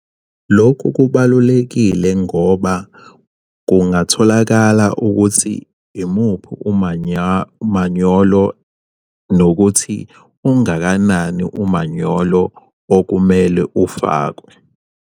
Lokhu kubalulekile ngoba kungatholakala ukuthi imuphi umanyolo nokuthi ungakanani umanyolo okumele ufakwe.